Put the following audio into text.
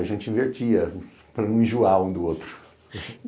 A gente invertia para não enjoar um do outro.